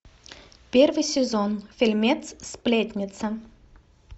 первый сезон фильмец сплетница